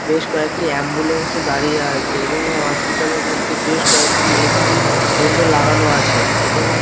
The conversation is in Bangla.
বেশ কয়েকটি অ্যাম্বুলেন্স দাঁড়িয়ে আছে এবং এই হসপিটাল -এর মধ্যে বেশ কয়েকটি এ.সি. ভেন্ড লাগানো আছে এবং--